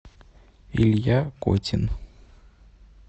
илья котин